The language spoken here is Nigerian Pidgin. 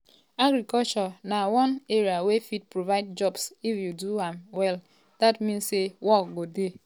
"agriculture na one area wey fit provide jobs if you do am well dat mean say work go dey.